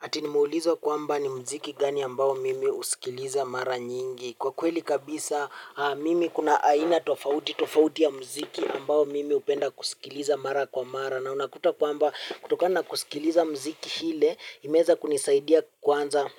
Ati nimeulizwa kwamba ni muziki gani ambao mimi husikiliza mara nyingi. Kwa kweli kabisa mimi kuna aina tofauti tofauti ya muziki ambao mimi hupenda kusikiliza mara kwa mara. Na unakuta kwamba kutokana kusikiliza miziki ile imeweza kunisaidia kwanza